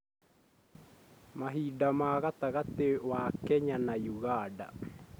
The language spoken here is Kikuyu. mahinda ma gatagatĩ wa kenya na uganda